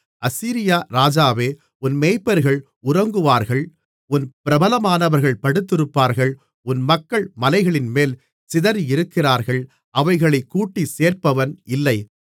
அசீரியா ராஜாவே உன் மேய்ப்பர்கள் உறங்குவார்கள் உன் பிரபலமானவர்கள் படுத்திருப்பார்கள் உன் மக்கள் மலைகளின்மேல் சிதறியிருக்கிறார்கள் அவைகளைக் கூட்டிச் சேர்ப்பவன் இல்லை